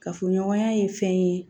Kafoɲɔgɔnya ye fɛn ye